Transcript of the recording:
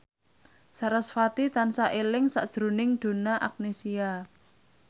sarasvati tansah eling sakjroning Donna Agnesia